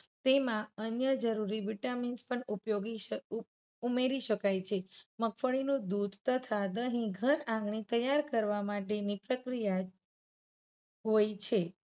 તેમા અન્ય જરુરી vitamins પણ ઉપયોગી-ઉમેરી શકાય છે. મગફળીનું દુધ તથા દહી ઘર આંગણે તૈયાર કરવા માટેની પ્રક્રિયા હોય છે.